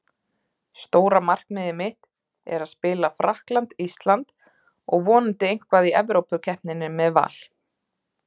Stóra markmiðið mitt er að spila Frakkland- Ísland og vonandi eitthvað í Evrópukeppninni með Val.